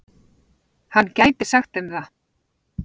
Hann gæti sagt þeim það.